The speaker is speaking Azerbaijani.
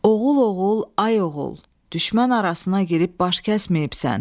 Oğul, oğul, ay oğul, düşmən arasına girib baş kəsməyibsən.